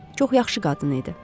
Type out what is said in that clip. Çox yaxşı qadın idi.